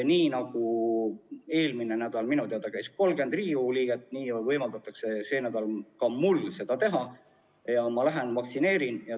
Nii nagu eelmisel nädalal käis minu teada 30 Riigikogu liiget vaktsineerimas, nii võimaldatakse sel nädalal ka mul seda teha ja ma lähen vaktsineerima.